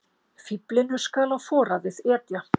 Fíflinu skal á foraðið etja.